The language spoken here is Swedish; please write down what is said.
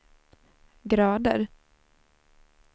grader